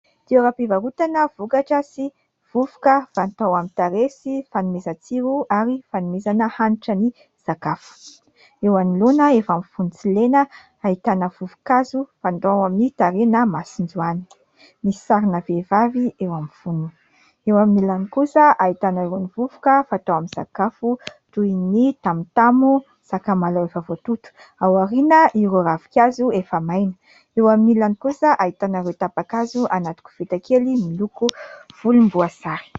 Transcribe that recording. Toeram-pivarotana vokatra sy vovoka fatao amin'ny tarehy sy fanomezan-tsiro ary fanomezana hanitra ny sakafo, eo anoloana efa amin'ny fonony tsilena ahitana vovo-kazo fandrao amin'ny tarehy na masonjoany, misy sarina vehivavy eo amin'ny fonony, eo amin'ilany kosa ahitana ireo ny vovoka fatao amin'ny sakafo toy : ny tamotamo, sakamalaho efa voatoto, ao aoriana ireo ravin-kazo efa maina, eo amin'ilany kosa ahitana ireo tapa-kazo anaty koveta kely miloko volomboasary.